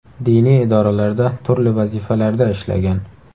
Diniy idoralarda turli vazifalarda ishlagan.